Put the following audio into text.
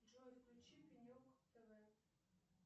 джой включи пенек тв